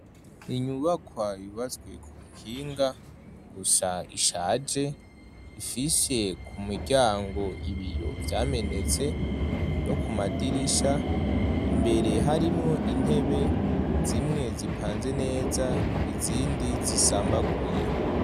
inyubakwa y'ubatswe ku buhinga gusa ishaje, ifishe ku muryango, ibiyo vyamenetse no ku madirisha, imbere harimwo intebe zimwe zipanze neza, izindi zisambaguye.